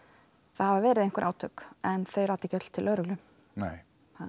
það hafa verið einhver átök en þau rata ekki öll til lögreglu nei